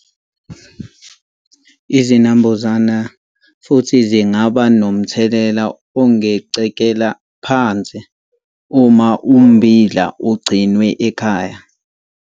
Izinambuzane futhi zingaba nomthelela ongacekela phansi uma ummbila ugcinwe ekhaya.